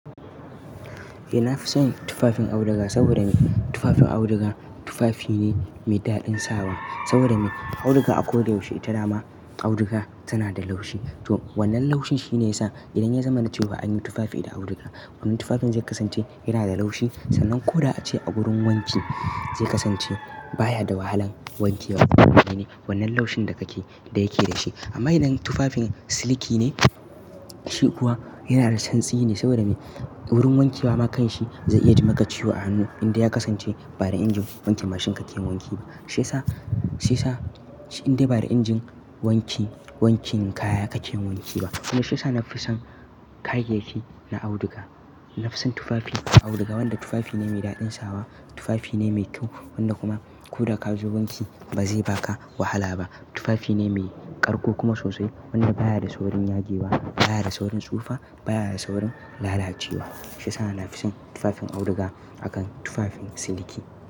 Eh, na fi son tufafin auduga saboda me? Tufafin auduga tufafi ne mai daɗin sawa saboda me? Auduga a ko da yaushe ita dama auduga tana da laushi. To wannan laushi shine yasa idan ya zama na cewa anyi hannu tufafi da auduga, wannan tufafin zai kasance yana da laushi sannan ko da a ce a gurin wanki zai kasance baya da wahalan wankewa. Wane wannan laushin da ya ke da shi. Amma idan tufafin siliki ne, shi kuwa yana da santsi ne saboda me? Wurin wankewa ma kanshi zai iya jima ka ciwo a hannu indai ya kasance ba da injin wanke mashin kake yin wanki ba. Shi sa, shi sa indai ba da injin wanki wankin kaya kake yin wanki ba. Kuma shi sa na fi son kayayyaki na auduga. Na fi son tufafi auduga wanda tufafi ne mai daɗin sawa, tufafi ne mai kyau wanda kuma ko da ka zuba wanki ba zai baka wahala ba. Tufafi ne mai ƙarƙo kuma sosai wanda baya da saurin yage wa, baya da saurin tsufa, baya da saurin lalacewa. Shi yasa na fi son tufafin auduga akan tufafin siliki.